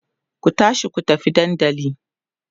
ku tashi ku tafi dandali!